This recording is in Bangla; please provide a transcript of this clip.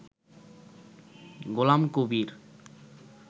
গোলামকবির